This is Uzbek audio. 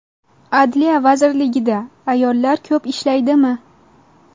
Adliya vazirligida ayollar ko‘p ishlaydimi?